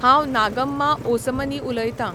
हांव नागम्मा ओसमनी उलयतां.